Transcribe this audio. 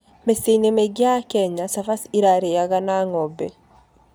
Mĩciĩ-inĩ mĩingĩ ya Kenya, cabaci ĩrarĩaga na ng'ombe.